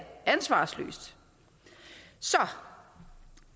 ansvarsløst så